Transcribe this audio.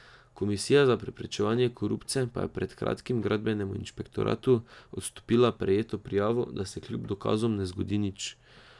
Komisija za preprečevanje korupcije pa je pred kratkim gradbenemu inšpektoratu odstopila prejeto prijavo, da se kljub dokazom ne zgodi nič.